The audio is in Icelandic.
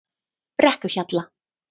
Brekkuhjalla